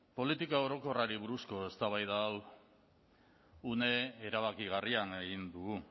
politika orokorrari buruzko eztabaida hau une erabakigarrian egin dugu